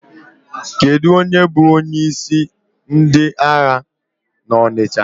Kedụ onye bụ onyeisi ndị ahịa Ọnịcha?